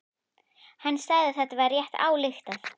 Hann sagði að það væri rétt ályktað.